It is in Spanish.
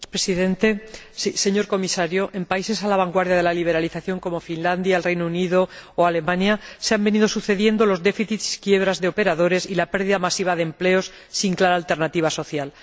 Señor Presidente, señor Comisario, en países a la vanguardia de la liberalización como Finlandia, el Reino Unido o Alemania se han venido sucediendo los déficits y quiebras de operadores y la pérdida masiva de empleos sin clara alternativa social.